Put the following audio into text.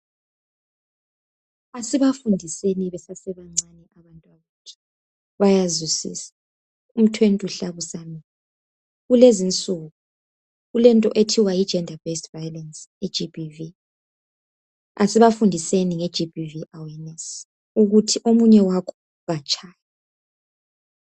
Asibafundiseni besesebancane abantwabethu. Bayazwisisa, umthwente uhlaba usamila. Kulezinsuku, kulento ethiwa yiGender Based Violence i(GBV). asibafundiseni ngeGBV awareness, ukuthi omunye wakho katshaywa.